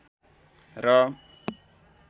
र